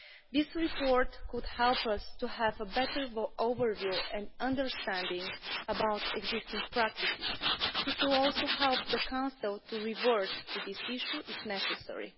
This report could help us to have a better overview and understanding about existing practices. It will also help the Council to revert to this issue if necessary.